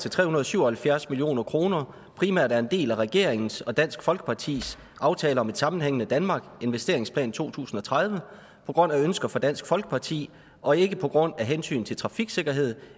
til tre hundrede og syv og halvfjerds million kroner primært er en del af regeringens og dansk folkepartis aftale om et sammenhængende danmark investeringsplan to tusind og tredive på grund af ønsker fra dansk folkeparti og ikke på grund af hensyn til trafiksikkerhed